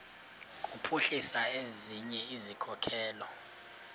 kuphuhlisa ezinye izikhokelo